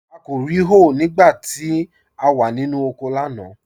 À kò rí hòé nígbà tí à wà nínu oko lánà.